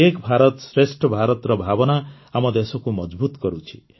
ଏକ ଭାରତଶ୍ରେଷ୍ଠ ଭାରତର ଭାବନା ଆମ ଦେଶକୁ ମଜଭୁତ୍ କରୁଛି